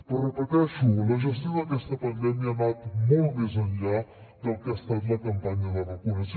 però ho repeteixo la gestió d’aquesta pandèmia ha anat molt més enllà del que ha estat la campanya de vacunació